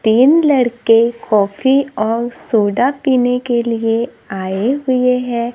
तीन लड़के कॉफ़ी और सोडा पीने के लिए आए हुए हैं।